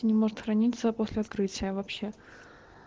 не может хранится после открытия вообще